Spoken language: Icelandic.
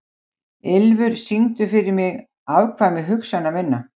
Ylfur, syngdu fyrir mig „Afkvæmi hugsana minna“.